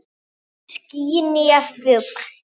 Hvorki ský né fugl.